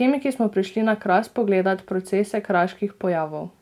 "Kemiki smo prišli na Kras pogledat procese kraških pojavov.